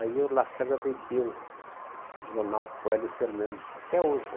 Aí o Lacerda vendeu o jornal para o Hélio Fernandes, até hoje.